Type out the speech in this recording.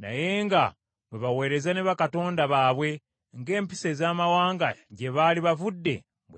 naye nga bwe baweereza ne bakatonda baabwe, ng’empisa ez’amawanga gye baali bavudde bwe zalinga.